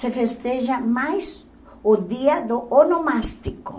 se festeja mais o dia do onomástico.